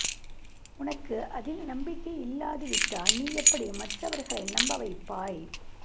உனக்கு அதில் நம்பிக்கை இல்லாது விட்டால் நீ எப்படி மற்றவர்களை நம்ப வைப்பாய்